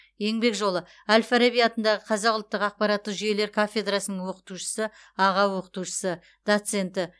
еңбек жолы әл фараби атындағы қазақ ұлттық ақпараттық жүйелер кафедрасының оқытушысы аға оқытушысы доценті